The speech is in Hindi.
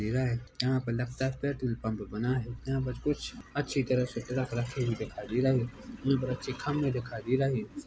धीरा है यहाँ पे लगता है पेट्रोल पंप बना है यहाँ पर कुछ अच्छी तरह से ट्रक रखी हुई दिखाई दे रहे है यह पर अच्छे खम्बे दिखाए दे रहे है।